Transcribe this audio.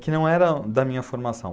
Que não era da minha formação.